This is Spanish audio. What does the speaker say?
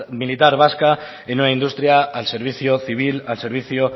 militar vasca en una industria al servicio civil al servicio